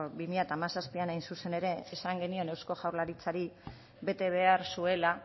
bi mila hamazazpian hain zuzen ere esan genion eusko jaurlaritzari bete behar zuela